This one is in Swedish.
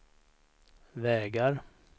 vägar